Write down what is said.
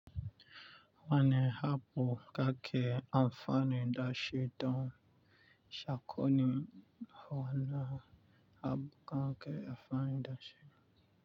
Wane abu kake amfanin dashi don sakonni? Wani abu kake amfanin dashi.